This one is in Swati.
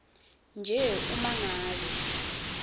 nje uma ngabe